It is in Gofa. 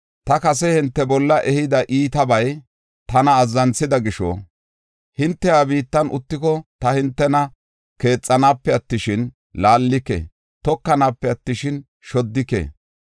“ ‘Ta kase hinte bolla ehida iitabay tana azzanthida gisho, hinte ha biittan uttiko, ta hintena keexanape attishin, laallike; tokanape attishin, shoddike.